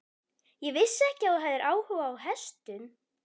Ég vissi ekki að þú hefðir áhuga á hestum.